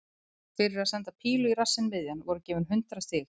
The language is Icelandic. Fyrir að senda pílu í rassinn miðjan voru gefin hundrað stig.